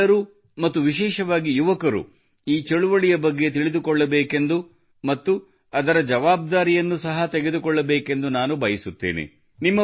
ನೀವೆಲ್ಲರೂ ಮತ್ತು ವಿಶೇಷವಾಗಿ ಯುವಕರು ಈ ಚಳವಳಿಯ ಬಗ್ಗೆ ತಿಳಿದುಕೊಳ್ಳಬೇಕೆಂದು ಮತ್ತು ಅದರ ಜವಾಬ್ದಾರಿಯನ್ನು ಸಹ ತೆಗೆದುಕೊಳ್ಳಬೇಕೆಂದು ನಾನು ಬಯಸುತ್ತೇನೆ